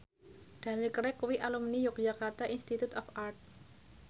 Daniel Craig kuwi alumni Yogyakarta Institute of Art